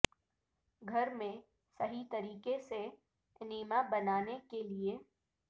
گھر میں صحیح طریقے سے انیما بنانے کے لئے